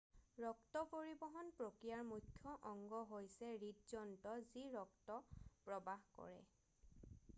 ৰক্ত পৰিবহণ প্ৰক্ৰিয়াৰ মুখ্য অংগ হৈছে হৃদযন্ত্ৰ যি ৰক্ত প্ৰবাহ কৰে